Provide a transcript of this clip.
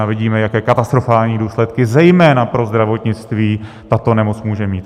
A vidíme, jaké katastrofální důsledky zejména pro zdravotnictví tato nemoc může mít.